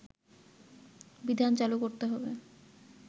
বিধান চালু করতে হবে